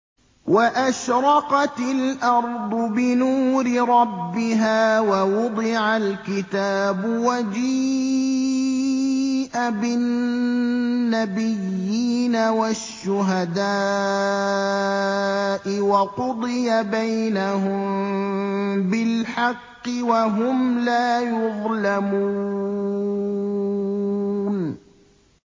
وَأَشْرَقَتِ الْأَرْضُ بِنُورِ رَبِّهَا وَوُضِعَ الْكِتَابُ وَجِيءَ بِالنَّبِيِّينَ وَالشُّهَدَاءِ وَقُضِيَ بَيْنَهُم بِالْحَقِّ وَهُمْ لَا يُظْلَمُونَ